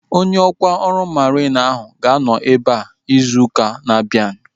Onye ọkwá ọrụ mariin ahu ga-anọ ebea izu ụka na-abịa